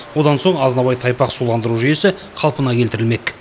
одан соң азынабай тайпақ суландыру жүйесі қалпына келтірілмек